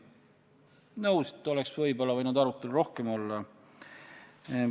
Nõus, et võib-olla oleks võinud arutelu rohkem olla.